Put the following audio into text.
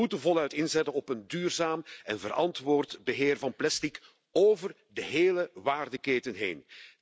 We moeten voluit inzetten op een duurzaam en verantwoord beheer van plastic over de hele waardeketen heen.